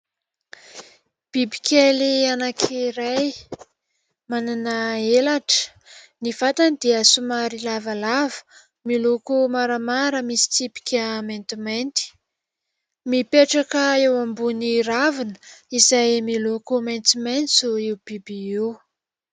Biby kely anakiray manana elatra, ny vantany dia somary lavalava miloko maramara misy tsipika maintimainty, mipetraka eo ambony ravina izay miloko maitsomaitso io biby io.